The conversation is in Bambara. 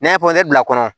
N'an ye pɔsɔn bila kɔnɔ